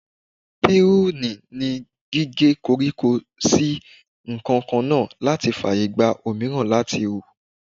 Piruni ni gíge koríko sí nǹkankan náà láti fàyègba òmíràn láti hù.